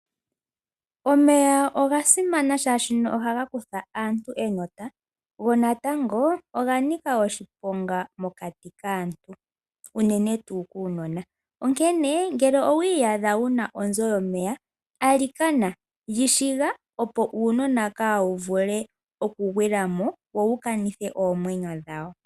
Omeya oga simana oshoka ohaga kutha aantu enota ,go natango oga nika oshiponga mokati kaantu ,unene tuu kuunona. Onkene ngele owi iyadha wuna onzo yomeya ,alikana yi shiga ,opo uunona ka wu vule oku gwila mo ,wo wuka nithe oomwenyo dhawo.